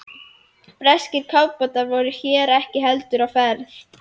Breskir kafbátar voru hér ekki heldur á ferð.